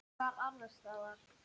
Hvar annars staðar?